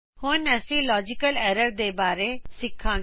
ਹੁਣ ਅਸੀ logical errors ਦੇ ਬਾਰੇ ਸਿਖਾਂਗੇ